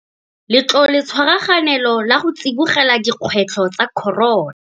Letloletshwaraganelo la go Tsibogela Dikgwetlho tsa Corona.